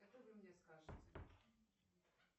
что вы мне скажите